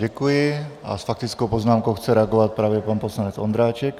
Děkuji a s faktickou poznámkou chce reagovat právě pan poslanec Ondráček.